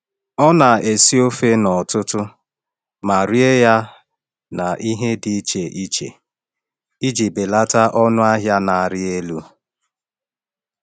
Ọ na-esi ofe n’ọtụtụ ma rie ya na ihe dị iche iche iji belata ọnụ ahịa na-arị elu.